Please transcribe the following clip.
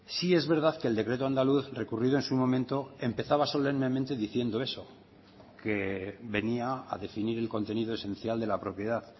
sí es verdad que el decreto andaluz recurrido en su momento empezaba solemnemente diciendo eso que venía a definir el contenido esencial de la propiedad